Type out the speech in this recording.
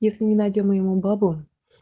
если не найдём мы ему бабу